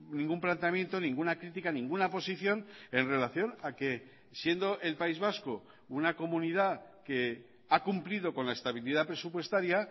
ningún planteamiento ninguna crítica ninguna posición en relación a que siendo el país vasco una comunidad que ha cumplido con la estabilidad presupuestaria